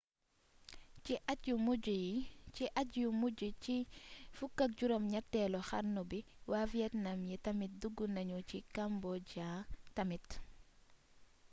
ci at yu mujj ci 18eelu xarnu bi waa vietnam yi tamit dug nañu ci cambodia tamit